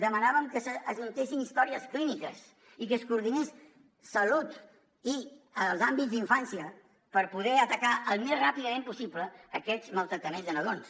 demanàvem que s’ajuntessin històries clíniques i que es coordinés salut i els àmbits d’infància per poder atacar al més ràpidament possible aquests maltractaments de nadons